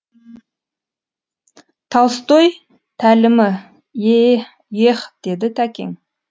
толстой тәлімі е еһ деді тәкең